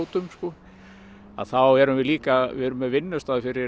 skátum þá erum við líka með vinnustað fyrir